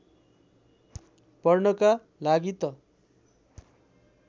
पढ्नका लागि त